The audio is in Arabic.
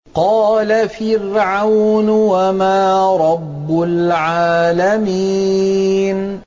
قَالَ فِرْعَوْنُ وَمَا رَبُّ الْعَالَمِينَ